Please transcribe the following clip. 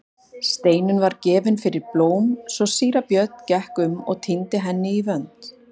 Steinunn var gefin fyrir blóm svo síra Björn gekk um og tíndi henni í vönd.